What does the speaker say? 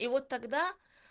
и вот тогда